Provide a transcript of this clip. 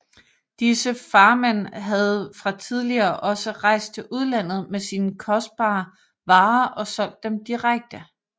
Disse farmenn havde fra tidligere også rejst til udlandet med sine kostbare varer og solgt dem direkte